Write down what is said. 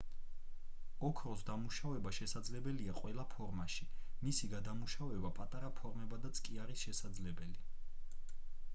ოქროს დამუშავება შესაძლებელია ყველა ფორმაში მისი გადამუშავება პატარა ფორმებადაც კი არის შესაძლებელი